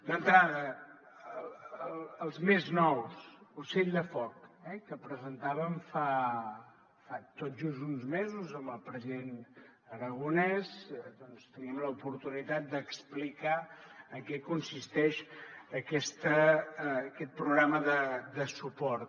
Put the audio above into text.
d’entrada els més nous ocell de foc que presentàvem fa tot just uns mesos amb el president aragonès doncs tenim l’oportunitat d’explicar en què consisteix aquest programa de suport